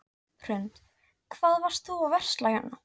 Hrund: Hvað varst þú að versla hérna?